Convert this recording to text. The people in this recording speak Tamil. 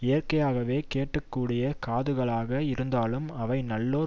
இயற்கையாகவே கேட்க கூடிய காதுகளாக இருந்தாலும் அவை நல்லோர்